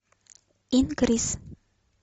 инкрис